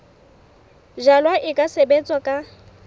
jalwa e ka sebetswa ka